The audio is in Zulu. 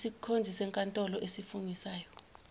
isikhonzi senkantolo esifungisayo